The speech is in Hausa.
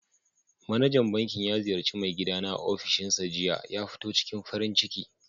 Manajan bankin ya ziyarci mai gida na a ofishinsa jiya. ya ciking farin ciki.